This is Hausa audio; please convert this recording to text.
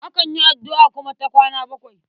Akan yi addu'a kuma ta kwana bakwai.